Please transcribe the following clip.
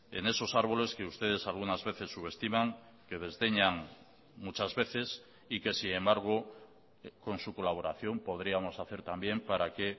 en esos árboles que ustedes algunas veces subestiman que desdeñan muchas veces y que sin embargo con su colaboración podríamos hacer también para que